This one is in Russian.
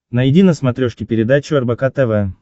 найди на смотрешке передачу рбк тв